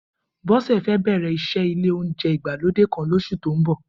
Bó̩sè̩ fé̩ bè̩rè̩ is̩é̩ ilé oúnje̩ ìgbálódé kan os̩ù tó ń bò̩